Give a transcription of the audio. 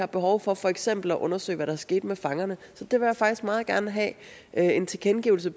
behov for for eksempel at undersøge hvad der skete med fangerne så jeg vil faktisk meget gerne have en tilkendegivelse